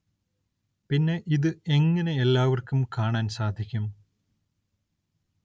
പിന്നെ ഇത് എങ്ങനെ എല്ലാവര്‍ക്കും കാണാന്‍ സാധിക്കും